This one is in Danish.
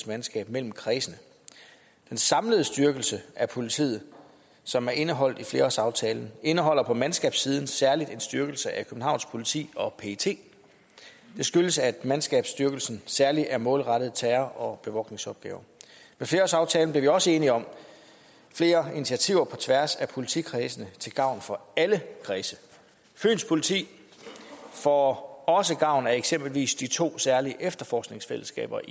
mandskab mellem kredsene den samlede styrkelse af politiet som er indeholdt i flerårsaftalen indeholder på mandskabssiden særlig en styrkelse af københavns politi og pet det skyldes at mandskabsstyrkelsen særlig er målrettet terror og bevogtningsopgaver ved flerårsaftalen blev vi også enige om flere initiativer på tværs af politikredsene til gavn for alle kredse fyns politi får også gavn af eksempelvis de to særlige efterforskningsfællesskaber